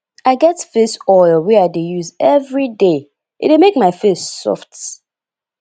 i get face oil wey i dey use everyday e dey make my face soft